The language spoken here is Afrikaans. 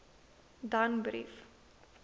danbrief